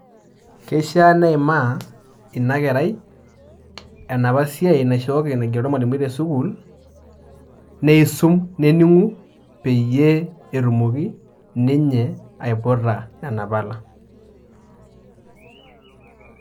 Keishiaa neimaa ina kerai enapa siai naigero ormwalimui te sukuul ,nisum , neningu peyie etumoki ninye aiputa nena pala.